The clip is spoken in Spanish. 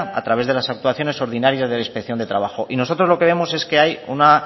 a través de las actuaciones ordinarias de la inspección de trabajo y nosotros lo que vemos es que hay una